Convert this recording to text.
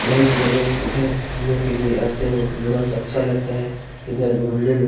बहुत लोगग इधर घूमने के लिए आते हैं बहुत अच्छा लगता है इधर घूमने में।